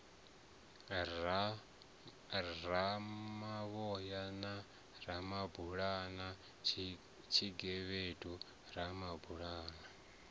ramavhoya na ramabulana tshigevhedu ramabulana